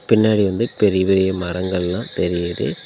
பின்னாடி வந்து பெரிய பெரிய மரங்கல்லா தெரியிது